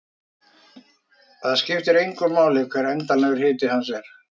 Það skiptir engu máli hver endanlegur hiti hans er.